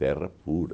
Terra pura.